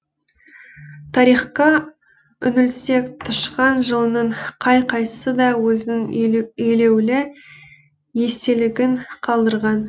тарихқа үңілсек тышқан жылының қай қайсысы да өзінің елеулі естелігін қалдырған